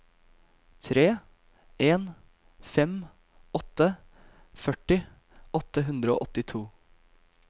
tre en fem åtte førti åtte hundre og åttito